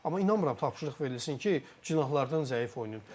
Amma inanmıram tapşırıq verilsin ki, cinahlardan zəif oynayın.